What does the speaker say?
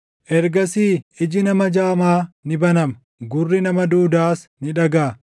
Ergasii iji nama jaamaa ni banama; gurri nama duudaas ni dhagaʼa.